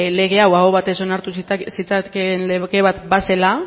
lege hau aho batez onartu zitzakeen lege bat ba zela